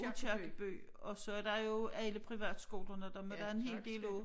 Aakirkeby og så der jo alle privatskolerne dem er der en hel del af